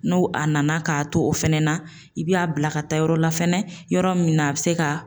N'o a nana k'a to o fɛnɛ na, i b'a bila ka taa yɔrɔ la fɛnɛ, yɔrɔ min na a bɛ se ka